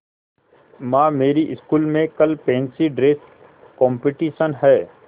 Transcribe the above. माँ मेरी स्कूल में कल फैंसी ड्रेस कॉम्पिटिशन है